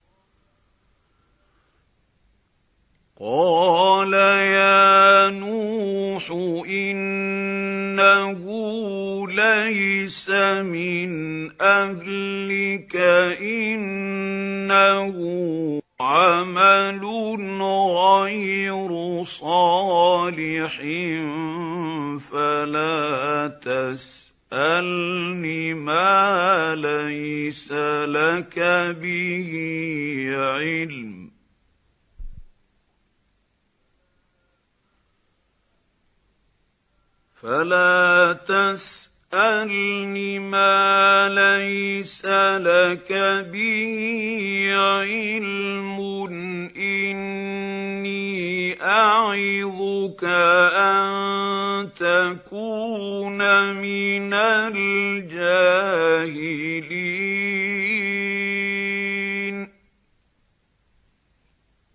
قَالَ يَا نُوحُ إِنَّهُ لَيْسَ مِنْ أَهْلِكَ ۖ إِنَّهُ عَمَلٌ غَيْرُ صَالِحٍ ۖ فَلَا تَسْأَلْنِ مَا لَيْسَ لَكَ بِهِ عِلْمٌ ۖ إِنِّي أَعِظُكَ أَن تَكُونَ مِنَ الْجَاهِلِينَ